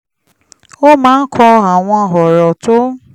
ó máa ń kọ àwọn ọ̀rọ̀ tó ń